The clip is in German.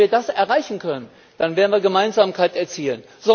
Wenn wir das erreichen können, werden wir Gemeinsamkeit erzielen.